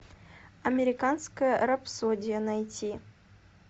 американская рапсодия найти